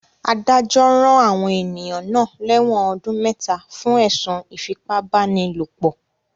Adájọ́ rán àwọn ènìyàn náà lẹ́wọ̀n ọdún mẹta fún ẹ̀sùn ìfipá-báni-lòpọ̀